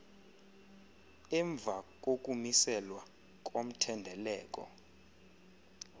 emva kokumiselwa komthendeleko